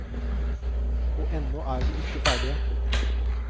Og ennå er vi ikke ferdige.